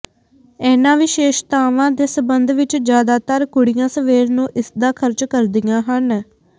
ਇਨ੍ਹਾਂ ਵਿਸ਼ੇਸ਼ਤਾਵਾਂ ਦੇ ਸਬੰਧ ਵਿੱਚ ਜਿਆਦਾਤਰ ਕੁੜੀਆਂ ਸਵੇਰ ਨੂੰ ਇਸਦਾ ਖਰਚ ਕਰਦੀਆਂ ਹਨ